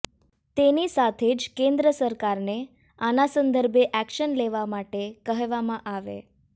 તેની સાથે જ કેન્દ્ર સરકારને આના સંદર્ભે એક્શન લેવા માટે કહેવામાં આવે